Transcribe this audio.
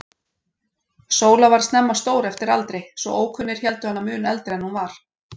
Sóla varð snemma stór eftir aldri, svo ókunnir héldu hana mun eldri en hún var.